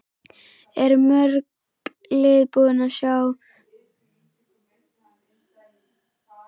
Eru mörg lið búin að sýna þér áhuga?